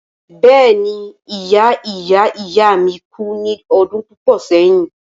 Bẹ́ẹ̀ni ìya ìya ìya mi kú ní ọdún púpọ̀ sẹ́yìn.